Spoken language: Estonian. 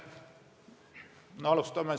Aitäh!